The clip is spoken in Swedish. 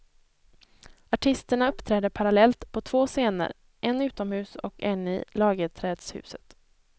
Artisterna uppträder parallellt på två scener, en utomhus och en i lagerträdshuset.